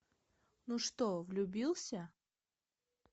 ну что влюбился